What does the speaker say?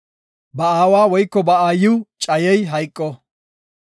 “Ba aawa woyko ba aayiw cayey hayqo.